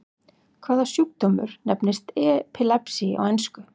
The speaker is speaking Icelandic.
Hvaða sjúkdómur nefnist epilepsy á ensku?